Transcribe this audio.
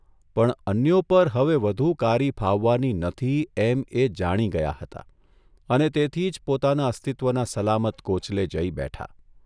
પણ અન્યો પર હવે વધુ કારી ફાવવાની નથી એમ એ જાણી ગયા હતા અને તેથી જ પોતાના અસ્તિત્વના સલામત કોચલે જઇ બેઠા.